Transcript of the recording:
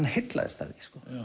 heillaðist af því